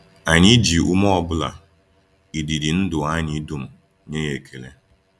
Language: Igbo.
Anyị ji ume ọ bụla, ịdị ịdị ndụ anyị dum, nye ya ekele.